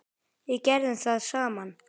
Við gerðum það saman.